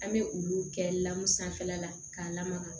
An bɛ olu kɛ lamu sanfɛla la k'a lamaga